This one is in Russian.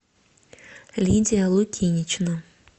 лидия лукинична